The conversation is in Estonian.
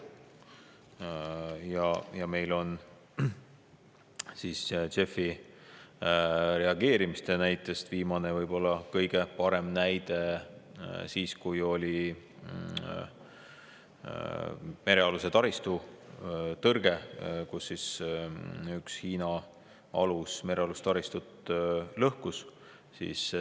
JEF-i reageerimise kohta viimane ja võib-olla ka kõige parem näide on see, kui oli merealuse taristu tõrge, sest üks Hiina alus lõhkus merealust taristut.